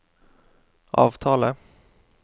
avtale